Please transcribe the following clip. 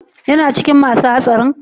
Yana cikin masun hatsari?